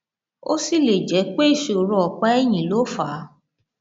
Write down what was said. ó sì lè jẹ pé ìṣòro ọpá ẹyìn ló fà á